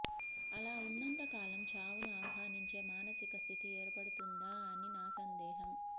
అలా ఉన్నంతకాలం చావును ఆహ్వానించే మానసిక స్థితి ఏర్పడుతుందా అని నా సందేహం